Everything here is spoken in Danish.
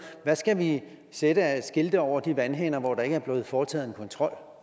skal vi sætte af skilte over de vandhaner hvor der ikke er blevet foretaget kontrol